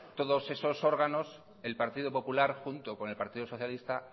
todos esos órganos el partido popular junto con el partido socialista